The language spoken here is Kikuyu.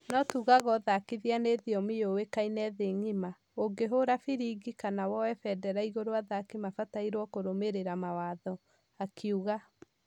No tuugaga ũthakithia ni thiomi yowekaine thĩ ngima , ũngĩhora firĩbĩ kana woye federa igũrũ athaki mafatairwo kũrũmerera mawatho," akiuga